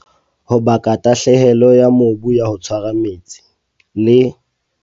Ho baka tahlehelo ya mobu ya ho tshwara metsi, le.